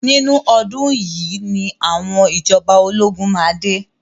Nínú ọdún yìí ni àwọn ìjọba ológun máa dé.